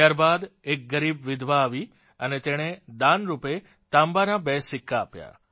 ત્યાર બાદ એક ગરીબ વિધવા આવી અને તેણે દાનરૂપે તાંબાના બે સિક્કા આપ્યા